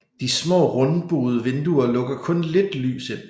De smà rundbuede vinduer lukker kun lidt lys ind